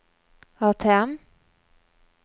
ATM